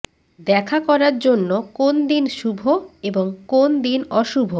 দেখা করার জন্য কোন দিন শুভ এবং কোন দিন অশুভ